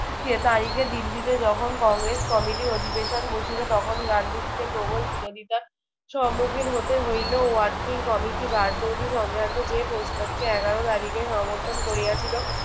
সে তারিখে দিল্লিতে যখন কংগ্রেস কমিটির অধিবেশন বসিল তখন গান্ধীজিকে প্রবল বিরোধিতার সম্মুখীন হতে হইলেও working কমিটি বারদৌলি সংক্রান্ত যে প্রস্তাবকে এগারো তারিখে সমর্থন করিয়াছিল।